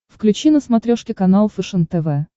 включи на смотрешке канал фэшен тв